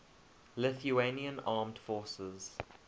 lithuanian armed forces